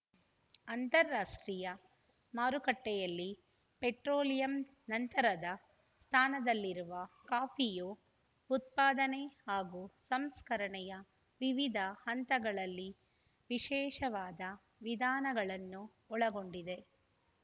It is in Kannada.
ಅಂತಾರಾಷ್ಟ್ರೀಯ ಮಾರುಕಟ್ಟೆಯಲ್ಲಿ ಪೆಟ್ರೋಲಿಯಂ ನಂತರದ ಸ್ಥಾನದಲ್ಲಿರುವ ಕಾಫಿಯು ಉತ್ಪಾದನೆ ಹಾಗೂ ಸಂಸ್ಕರಣೆಯ ವಿವಿಧ ಹಂತಗಳಲ್ಲಿ ವಿಶೇಷವಾದ ವಿಧಾನಗಳನ್ನು ಒಳಗೊಂಡಿದೆ